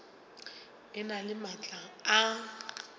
e na le maatla a